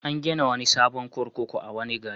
An gina wani sabon kurkuku a wani gari.